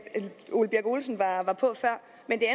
når på